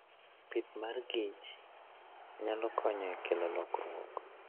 Pith mar kich nyalo konyo e kelo lokruok.